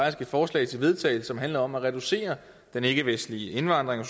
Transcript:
et forslag til vedtagelse som handler om at reducere den ikkevestlige indvandring